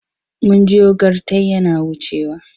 Mun jiyo gyartai yana wucewa.